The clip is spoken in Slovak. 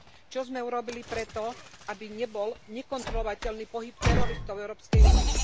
Čo sme urobili pre to, aby nebol nekontrolovateľný pohyb teroristov v Európskej únii.